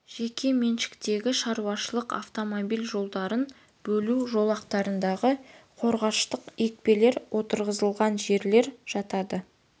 жеке меншіктегі шаруашылық автомобиль жолдарын бөлу жолақтарындағы қорғаныштық екпелер отырғызылған жерлер жатады